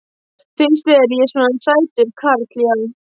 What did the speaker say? Finnst þér ég svona sætur karl já.